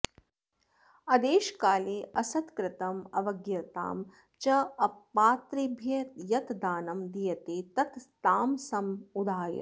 अदेशकाले असत्कृतम् अवज्ञातं च अपात्रेभ्यः यत् दानं दीयते तत् तामसम् उदाहृतम्